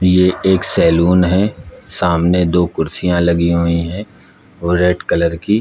ये एक सैलून है सामने दो कुर्सियां लगी हुई है वो रेड कलर की--